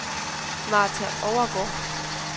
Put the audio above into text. Martha Overgaard